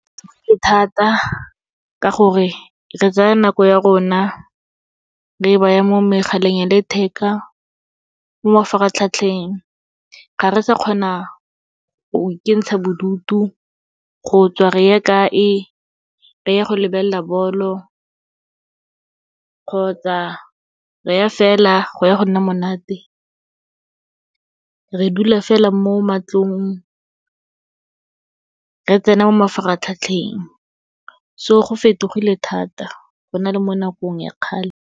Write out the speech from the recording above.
E thata ka gore, re tsaya nako ya rona re baya mo megaleng ya letheka, mo mafaratlhatlheng, ga re sa kgona go ikentsha bodutu, go tswa re ya kae, re ya go lebelela bolo kgotsa re ya fela go ya go nna monate. Re dula fela mo matlong, re tsena mo mafaratlhatlheng, so go fetogile thata go na le mo nakong ya kgale.